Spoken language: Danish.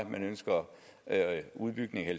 man ønsker udbygning af